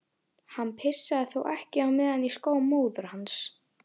Hann pissaði þá ekki á meðan í skó móður hans.